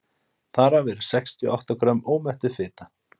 þar af eru sextíu og átta grömm ómettuð fita